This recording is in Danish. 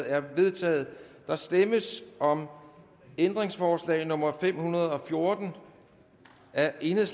er vedtaget der stemmes om ændringsforslag nummer fem hundrede og fjorten af el der